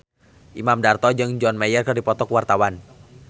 Imam Darto jeung John Mayer keur dipoto ku wartawan